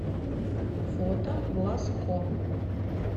фото глазко